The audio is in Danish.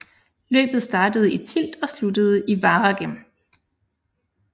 Løbet startede i Tielt og sluttede i Waregem